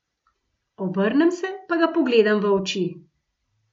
Obrnem se pa ga pogledam v oči.